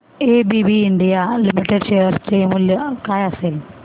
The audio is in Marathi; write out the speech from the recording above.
एबीबी इंडिया लिमिटेड शेअर चे मूल्य काय असेल